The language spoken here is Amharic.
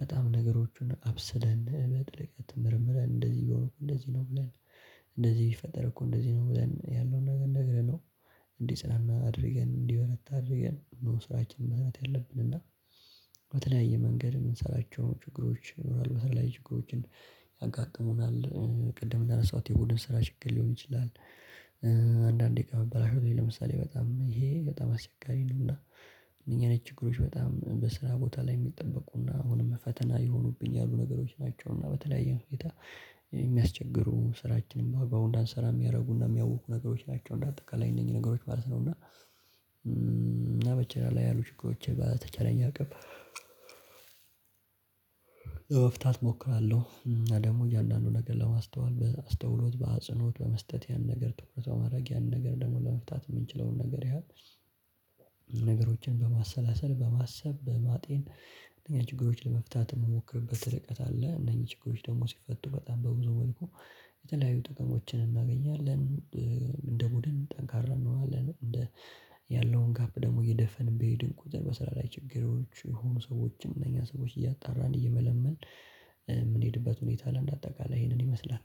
በጣም ነገሮችን አብስለን በጥልቀት ምርምረን እንደዚህ እየሆንኩ እንደዚህ ብለን እንደዚህ ቢፈጠር እኮ እንደዚህ ነው ብለን ያለውን ነገር ነግረነው እንዴ ሰላም አድርገን እንዲህ መታ አድርገን መወሰናችን ማለት ያለብን እና በተለያየ መንገድ የምንሰራቸው ችግሮች ይኖራሉ። በስራ ላይ ችግሮችን ያጋጥሙናል። ቅድም እንዳነሳሁት የቡድን ስራ ችግር ሊሆን ይችላል። አንዳንድ ደቂቃ መበላሸት ለምሳሌ በጣም ይሄ በጣም አስቸጋሪ ነውና እኛ አይነት ችግሮች በጣም በስራ ቦታ ላይ የሚጠበቁና አሁንም ፈተና የሆኑብኝ ያሉ ነገሮች ናቸውና በተለያየ ሁኔታ የሚያስቸግሩ ስራችን በአግባቡ እንዳንሰራ የሚያደርጉና የሚያውኩ ነገሮች ናቸው እና እንደ አጠቃላይ እነኚህ ነገሮች ማለት ነው እና በስራ ላይ ያሉ ችግሮችን በተቻለኝ አቅም መፍታት እሞክራለሁ። እና ደግሞ እያንዳንዱ ነገር ለማስተዋል በአስተውሎት በአጽኖት በመስጠት ያን ነገር ትኩረት በማድረግ ያንን ነገር ደግሞ ለመፍታት የምንችለውን ነገር ያ ነገሮችን በማሰላሰል በማሰብ በማጤን ችግሮችን ለመፍታት የምሞክርበት እርቀት አለ። እነዚህ ችግሮች ደግሞ ሲፈቱ በጣም በብዙ መልኩ የተለያዩ ጥቅሞችን እናገኛለን። እንደ ቡድን ጠንካራ ያለውን ጋፕ ደግሞ እየደፈንን ቢሄድን ቁጥር በስራ ላይ ችግሮች የሆኑ ሰዎችን እነኛን ሰዎች እያጣራን እየመለመልን ምንሄድበት ሁኔታ በአጠቃላይ ይሄንን ይመስላል።